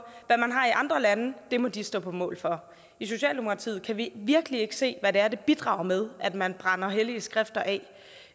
hvad man har i andre lande må de stå på mål for i socialdemokratiet kan vi virkelig ikke se hvad det er det bidrager med at man brænder hellige skrifter af